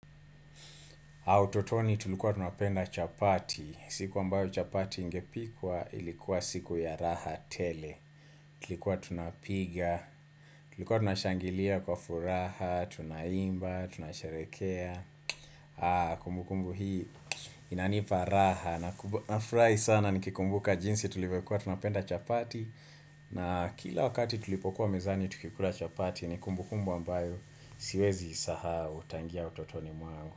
Utotoni tulikuwa tunapenda chapati, siku ambayo chapati ingepikwa ilikuwa siku ya raha tele, tulikuwa tunapiga, tulikuwa tunashangilia kwa furaha, tunaimba, tunasharekea, kumbu kumbu hii inanipa raha nafurahi sana nikikumbuka jinsi tulivyokuwa tunapenda chapati na kila wakati tulipokuwa mezani tukikula chapati ni kumbu kumbu ambayo siwezi isahau tangia utotoni mwangu.